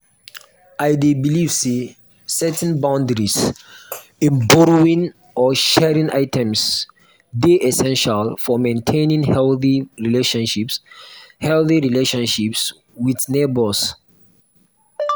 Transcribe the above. i dey believe say setting boundaries in borrowing or sharing items dey essential for maintaining healthy relationships healthy relationships with neighbors.